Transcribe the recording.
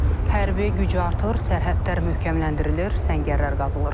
Hərbi güc artır, sərhədlər möhkəmləndirilir, səngərlər qazılır.